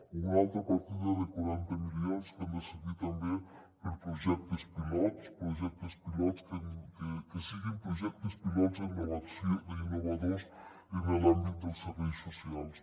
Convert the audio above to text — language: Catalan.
o una altra partida de quaranta milions que han de servir també per a projectes pilots projectes pilots que siguin projectes pilots innovadors en l’àmbit dels serveis socials